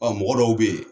Ɔ mɔgɔ dɔw bɛ yen